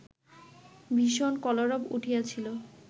ভীষণ কলরব উঠিয়াছিল